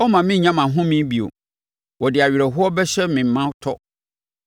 Ɔremma menya mʼahome, bio. Ɔde awerɛhoɔ bɛhyɛ me ma tɔ.